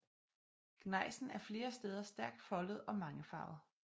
Gnejsen er flere steder stærkt foldet og mangefarvet